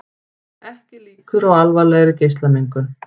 Ekki líkur á alvarlegri geislamengun